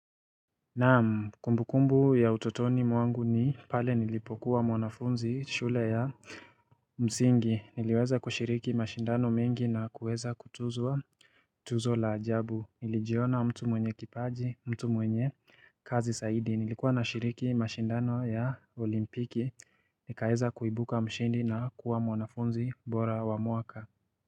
Naam kumbukumbu ya utotoni mwangu ni pale nilipokuwa mwanafunzi shule ya msingi niliweza kushiriki mashindano mengi na kuweza kutuzwa Tuzo la ajabu nilijiona mtu mwenye kipaji, mtu mwenye kazi zaidi nilikuwa nashiriki mashindano ya olimpiki nikaeza kuibuka mshindi na kuwa mwanafunzi bora wa mwaka.